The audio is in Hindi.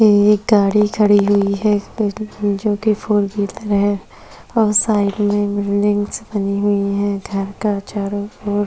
ये एक गाडी खड़ी हुई है जोकि फोर व्हीलर है और साइड में बिल्डिंग्स बनी हुई है घर के चारो ओर --